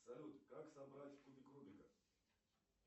салют как собрать кубик рубика